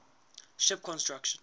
ship construction